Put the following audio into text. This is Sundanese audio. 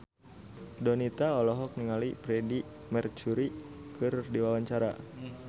Donita olohok ningali Freedie Mercury keur diwawancara